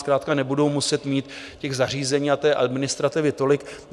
Zkrátka nebudou muset mít těch zařízení a té administrativy tolik.